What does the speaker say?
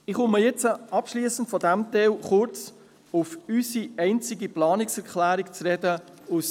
Ich komme abschliessend auf unsere einzige Planungserklärung zu sprechen.